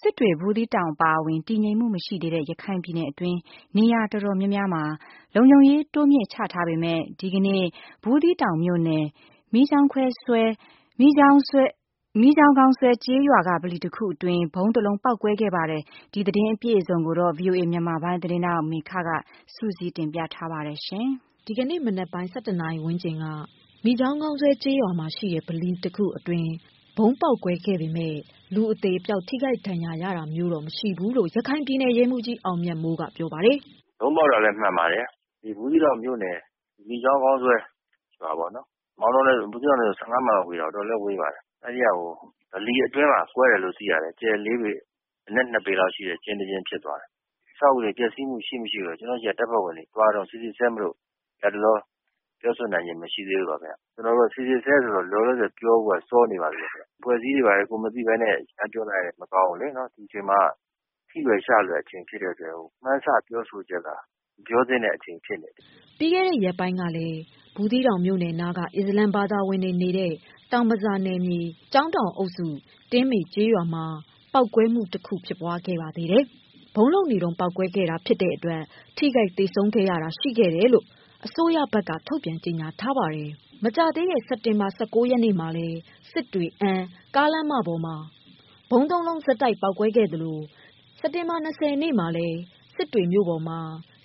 စစ်တွေ၊ ဘူးသီးတောင်အပါအဝင် တည်ငြိမ်မှုမရှိသေးတဲ့ ရခိုင်ပြည်နယ်တွင်း နေရာတော်တော်များများမှာ လုံခြုံရေးတိုးမြှင့်ချထားပေမယ့် ဒီကနေ့ ဘူးသီးတောင်မြို့နယ် မီးကျောင်းခေါင်းဆွဲ ကျေးရွာက ဗလီတခုအတွင်း ဗုံးတစ်လုံးပေါက်ကွဲခဲ့ပါတယ်။ ဒီသတင်းကိုဗွီအိုအေ သတင်းဌာနကမေခက စုစည်း တင်ပြထားပါတယ်။ ဒီကနေ့မနက်ပိုင်း ၁၁နာရီဝန်းကျင် မီးကျောင်းခေါင်းဆွဲ ကျေးရွာက ဗလီတခုအတွင်း ဗုံးတစ်လုံးပေါက်ကွဲခဲ့ပေမယ့် လူအသေ အပျောက် ထိခိုက်ဒဏ်ရာတော့ မရှိခဲ့ဘူးလို့ ရခိုင်ပြည်နယ် ရဲမှူးကြီး အောင်မြတ်မိုးကပြောပါတယ်။ " ဗုံးပေါက်တာ မှန်ပါတယ် ဘူးသီးတောင်မြို့နယ် မိချောင်းခေါင်းဆွဲ ကျေးရွာမှာပေါ့နော် မောင်တော ဘူးသီးတောင်နဲ့ဆို ၁၅ မိုင်လောက်ဝေးတယ်။ အတော်လေးဝေးပါတယ် အဲ့ဒီ့က ဗလီအတွင်းမှာ ကွဲတယ်လို့သိရပါတယ် အကျယ်လေးပေ အနက်၂ပေလောက် ရှိတဲ့ ကျင်းတကျင်းဖြစ်သွားတယ်။ အဆောက်အဦးတွေက ပျက်စီးခြင်းရှိ-မရှိကတော့ ကျနော်တို့ဆီက ဓာတ်ပုံတွေ သွားတုန်း စိစစ်ဆဲမို့ လတ်တလော ပြောဆိုနိုင်ခြင်း မရှိသေးလို့ပါ ခင်ဗျ။ လောလောဆယ်ကတော့ စိစစ်ဆဲ ဆိုတော့ ပြောဖို့က စောနေပါသေးတယ်။ အဖွဲ့အစည်းတွေဘာတွေကလည်း ကိုယ်မသိပဲနဲ့ ရမ်းပြောလိုက်ရင် မကောင်းဘူးလေ ဒီအချိန်မှာက ထိလွယ်ရှလွယ် ဖြစ်တဲ့အတွက် မှန်းဆပြောဆိုချက်က မပြောသင့်တဲ့အချိန်ဖြစ်နေတယ်။" ပြီးခဲ့တဲ့ ရက်ပိုင်းကလည်း ဘူးသီးတောင်မြို့နယ်နားက အစ္စလာမ် ဘာသာဝင်တွေနေထိုင်တဲ့ တောင်ဘဇာနယ်မြေ ကျောင်းတောင်အုပ်စု တင်းမေ ကျေးရွာမှာပေါက်ကွဲမှုတခုဖြစ်ပွားခဲ့ပါသေးတယ်။ ဗုံးလုပ်နေတုန်း ပေါက်ကွဲခဲ့လို့ ထိခိုက်သေဆုံးခဲ့တာရှိခဲ့တယ်လို့ အစိုးရဘက်က ထုတ်ပြန်ထားပါတယ်။ ပြီးခဲ့တဲ့ စက်တင်ဘာ ၁၉ ရက်နေ့ကလည်းစစ်တွေ-အမ်းကားလမ်းမပေါ်မှာ ဗုံးသုံးလုံးဆက်တိုက် ပေါက်ကွဲခဲ့သလို၂၀ရက် နေ့ကလည်း စစ်တွေမြို့ပေါ်မှာ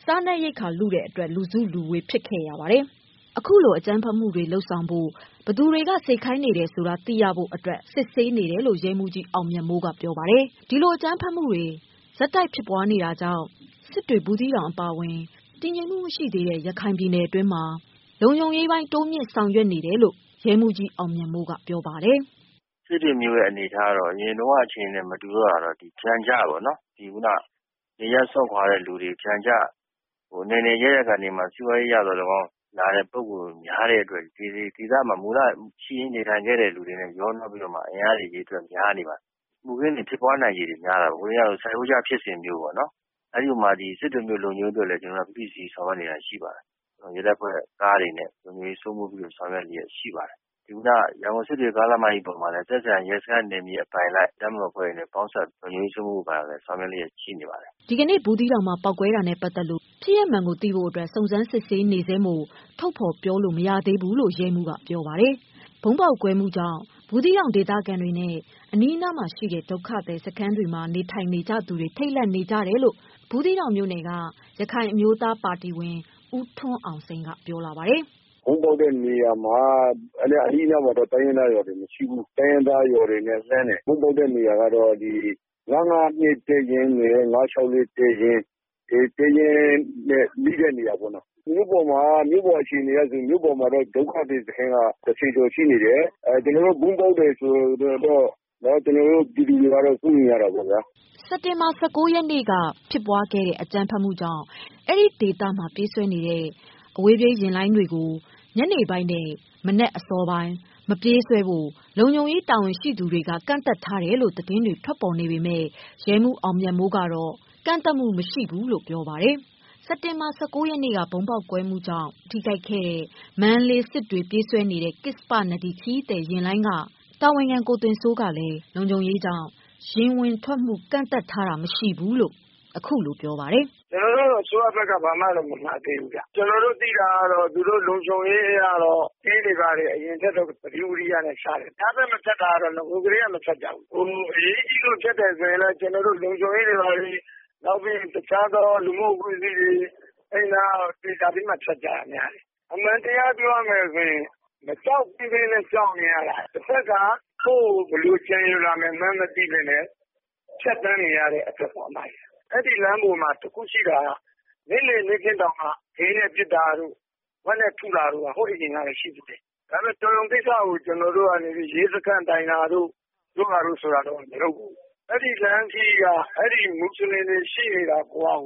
စားနပ်ရိက္ခာလုလို့ လူစုလူဝေး ဖြစ်ခဲ့ပါတယ်။ အခုလို အကြမ်းဖက် လုပ်ဆောင်ဖို့ ဘယ်သူတွေက စေခိုင်းနေတယ်ဆိုတာကိုသိရဖို့ စစ်ဆေးနေတယ်လို့ ရဲမှုးကြီး အောင်မြတ်မိုးကပြောပါတယ်။ ဒီလို အကြမ်းဖက်မှုတွေ ဆက်တိုက် ဖြစ်ပွားနေတာကြောင့် စစ်တွေ၊ ဘူးသီးတောင် အပါအဝင် တည်ငြိမ်မှုမရှိသေးတဲ့ ရခိုင်ပြည်နယ် အတွင်းလုံခြုံရေး ပိုတိုးချထားတယ်လို့ ရဲမှုးကြီးအောင်မြတ်မိုးကပြောပါတယ်။ "စစ်တွေမြို့ရဲ့အနေအထားကတော့ အရင်တုန်းက အခြေအနေနဲ့ မတူတော့တာကတော့ ပျံကျတွေ အနယ်နယ်အရပ်ရပ်က စွန့်ခွာလာတဲ့သူတွေ စီးပွားရေးအရသော်လည်းကောင်း လာတဲ့ပုဂ္ဂိုလ်တွေ များတဲ့အတွက် မူလရှိရင်းနေထိုင်ခဲ့သူတွေနဲ့ရောနှောပြီးတော့မှ အင်အားများလာတယ် မူခင်းဖြစ်ပွားနိုင်ခြေတွေများတာပေါ့။ ဟိုနေ့ကဖြစ်စဉ်လိုမျိုးပေါ့ စစ်တွေမြို့ လုံခြုံရေးက ဖိဖိစီးစီးဆောင်ရွက်နေတာရှိပါတယ်။ ရဲတပ်ဖွဲ့က လှည့်ကင်းကားတွေနဲ့ နယ်မြေစိုးမိုးရေးအတွက် ဆောင်ရွက်နေလျက်ရှိပါတယ်။ ခုနက စစ်တွေ ကားလမ်းမကြီးပေါ်မှာလည်း သက်ဆိုင်ရာ ရဲစခန်းနယ်မြေအပိုင် ရဲစခန်းအပိုင်လိုက် တပ်မတော်အဖွဲ့တွေနဲ့ပေါင်းပြီးတော့ လုံခြုံရေးစိုးမိုးမှုအပိုင်းကို ဆောင်ရွက်နေတာတွေရှိပါတယ်။" ဒီကနေ့ဘူးသီးတောင်မှာ ပေါက်ကွဲမှုနဲ့ ပတ်သတ်ပြီးအဖြစ်မှန်သိရဖို့ စုံစမ်းစစ်ဆေးနေဆဲမို့ အသေးစိတ် ထုတ်ဖော်ပြောလို့မရသေးဘူးလို့ ရဲမှုးကပြောပါတယ်။ ဗုံးပေါက်ကွဲမှုကြောင့် ဘူးသီးတောင်ဒေသခံတွေနဲ့ အနီးမှာရှိတဲ့ ဒုက္ခသည်စခန်း တွေမှာ ထိတ်လန့်မှုတွေ ရှိနေတယ်လို့ အဲဒီဒေသကရခိုင်အမျိုးသားပါတီက ဦးထွန်းအောင်စိန်ကပြောလာပါတယ်။ " ဗုံးပေါက်တဲ့နေရာမှာ အနီးအနားမှာတော့ တိုင်းရင်းသားရွာတွေမရှိဘူး။ တိုင်းရင်းသားရွာတွေနဲ့ လှမ်းတယ် ဗုံးပေါက်တဲ့နေရာကတော့ ၅၅၂ တပ်ရင်းနဲ့ ၅၆၄ တပ်ရင်း နဲ့နီးတဲ့နေရာပေါ့နော် မြို့ပေါ်မှာ အခြေအနေကတော့ မြို့ပေါ်စခန်းက ၁၀ကျော်ရှိနေတယ်။ ဗုံးပေါက်တယ်ဆိုတော့ ကျနော်တို့ပြည်သူတွေကတော့ စိုးရိမ်နေကြတာပေါ့ဗျာ။" စက်တင်ဘာ ၁၉ ရက်က စစ်တွေ-အမ်း ကားလမ်းမမှာ ဗုံးပေါက်ခဲ့တာကြောင့် အဲဒီဒေသ မှာ ပြေးဆွဲနေတဲ့ အဝေးပြေး ယာဉ်လိုင်း တွေပြေးဆွဲတာမှာ ညနေပိုင်းနဲ့မနက်စောပိုင်း ဝင်ထွက်ချိန် မလုပ်ဖို့ လုံခြုံရေးတာဝန်ရှိသူတွေ က ကန့်သတ်ထားတယ် လို့ သတင်း တွေထွက်ပေါ်နေပေမယ့် ရဲမှူးအာင်မြတ်မိုးကတော့ ထုတ်ပြန်ထားတာမရှိဘူးလို့ ပြောပါတယ်။ စက်တင်ဘာ ၁၉ ရက်က ဗုံးပေါက်ကွဲမှုကြောင့်ထိခိုက်ခဲ့တဲ့ မန္တလေး- စစ်တွေပြေးတဲ့ ကစ္ဆပနဒီ ခရီးသည် တင်ယာဉ်က တာဝန်ခဲ ကို သွင်စိုးက လုံခြုံရေးကြောင့် ယာဉ်ဝင်ထွက်မှု ကန့်သတ်ထားတာမရှိဘူးလို့ပြောပါတယ်။ " ကျနော်တို့ကို အစိုးရဘက်ကတော့ ဘာမှ မမှာသေးဘူးခင်ဗျ။ ကျနော်တို့သိတာကတော့ လုံခြုံရေးကင်းတွေကတော့ အရင်ကထက်စာရင် လုံခြုံရေးသတိဝီရိယနဲ့ရှာတယ်။ ညဘက်မထွက်တာကတော့ နဂိုကတည်းက မထွက်ကြဘူး။ တကယ်လို့ အရေးကြီးလို့ ထွက်တယ်ဆိုရင်လည်း လုံခြုံရေးတွေ ဘာတွေ နောက်ပြီး လူမှုအဖွဲ့အစည်းတွေ ပြောပြီးမှ ဖြတ်ကြတယ်ခင်ဗျ။ အမှန်ပြောရမယ်ဆိုရင် မကြောက်သင့်ပဲ ကြောက်နေရတာ တဘက်က ကိုယ့်ကို ဘယ်လိုကြံရွယ်လာမယ်မှန်းမသိပဲနဲ့ ဖြတ်သန်းနေရတဲ့အတွက်ပေါ့ အမရယ် အဲ့ဒီ့လမ်းပေါ်မှာ တခုရှိတာက နေ့လည်နေ့ခင်းတောင်မှ ခဲနဲ့ထုတာတို့ ဂွနဲ့ပစ်တာတို့ ဟိုးတုန်းကတည်းက ရှိတယ် ဒါပေမဲ့ ကျနော်တို့က တော်ရုံကိစ္စကို ရဲစခန်းတိုင်တာတို့ ပြောတာဆိုတာတို့ မလုပ်ဘူး။ အဲ့ဒီ့လမ်းခရီးမှာ အဲ့ဒီ့မူဆလင်တွေ ရှိနေတာကိုကကို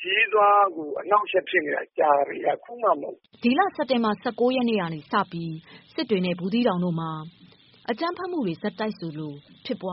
ခရီးသွားတာကို အနှောင့်အယှက်ဖြစ်နေတာကြာပြီ အခုမှ မဟုတ်ဘူး။ " လက်ရှိစက်တင်ဘာ ၁၉ ရက်နေစပြီး စစ်တွေ၊ ဘူးသီးတောင်တို့မှာ အကြမ်းဖက်မှုတွေ ဆက်တိုက်ဆိုသလို ဖြစ်ပ